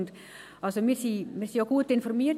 – Und wir wurden auch gut informiert.